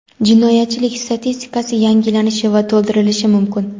jinoyatchilik statistikasi yangilanishi va to‘ldirilishi mumkin.